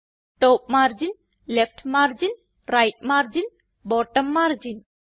top margin left margin right margin bottom margin